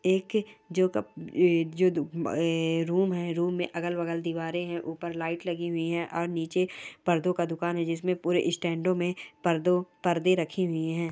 एक जो रूम है रूम में अगल बगल दीवारे है ऊपर लाइट लगी हुई है और निचे पर्दों का दुकान है जिसमे पूरा स्टैंडो में पर्दों परदे रखे हुए हैं।